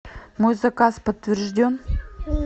мой заказ подтвержден